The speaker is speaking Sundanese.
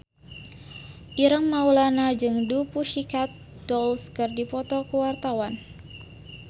Ireng Maulana jeung The Pussycat Dolls keur dipoto ku wartawan